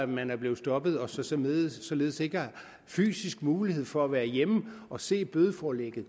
man er blevet stoppet og således således ikke har fysisk mulighed for at være hjemme og se bødeforlægget